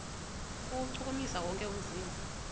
kuwuchukumisa wonke umzimba